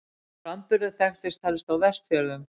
Sá framburður þekktist helst á Vestfjörðum.